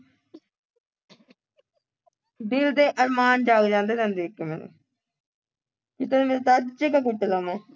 ਦਿਲ ਦੇ ਅਰਮਾਨ ਜਾਗ ਜਾਂਦੇ ਤੈਨੂੰ ਦੇਖ-ਦੇਖ ਕੇ ਮੇਰੇ ਕਿਤੇ ਮੈਂ ਸੱਚ ਚ ਨਾ ਘੁੱਟ ਦੇਵਾਂ